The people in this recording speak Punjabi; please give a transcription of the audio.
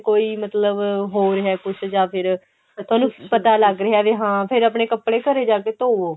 ਕੋਈ ਮਤਲਬ ਹੋਰ ਹੈ ਕੁੱਝ ਜਾਂ ਫਿਰ ਉਹਨੂੰ ਪਤਾ ਲੱਗ ਰਿਹਾ ਵੀ ਹਾਂ ਫਿਰ ਆ ਪਾਣੇ ਕੱਪੜੇ ਫਿਰ ਘਰੇ ਜਾ ਕੇ ਧੋਵੋ